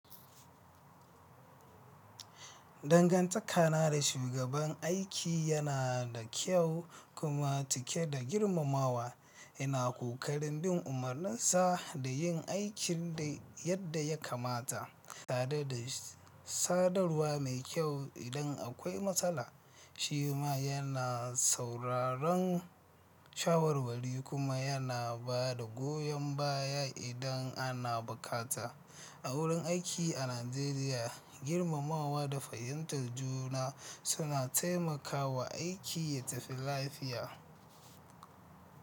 Dangantaka na da shugaban aiki yana da kyau kuma cike da girmamawa, yana ƙoƙarin bin umarninsa da yin aikin yadda ya kamata. Tarede da sadarwa mai kyau idan akwai matsala, shi ma yana sauraron shawarwari kuma yana ba da goyon baya idan ana bukata. A wurin aiki a Najeriya, girmamawa da fahimtar juna suna taimakawa aiki ya tafi lafiya.